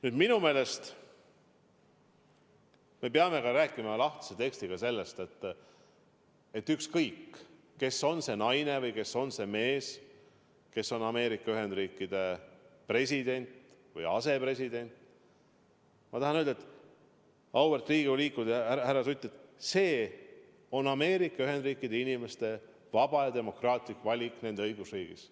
Nüüd, minu meelest me peame rääkima lahtise tekstiga sellest, et ükskõik, kes on see naine või kes on see mees, kes on Ameerika Ühendriikide president või asepresident, ma tahan öelda, auväärt Riigikogu liikmed ja härra Sutt: see on Ameerika Ühendriikide inimeste vaba ja demokraatlik valik nende õigusriigis.